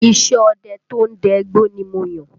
Iṣẹ́ ọdẹ to ń dẹ igbó ni mo yàn